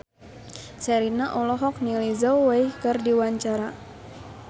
Sherina olohok ningali Zhao Wei keur diwawancara